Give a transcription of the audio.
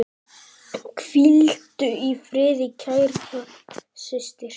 Hvíldu í friði, kæra systir.